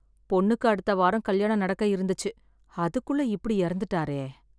பொண்ணுக்கு அடுத்த வாரம் கல்யாணம் நடக்க இருந்துச்சு அதுக்குள்ள இப்படி இறந்துட்டாரே?